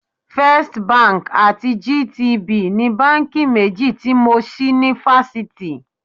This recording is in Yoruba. First Bank àti GTB ni báńkì méjì tí mo ṣí ní fásitì.